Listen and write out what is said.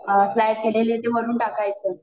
fry केलेले, ते वरून टाकायच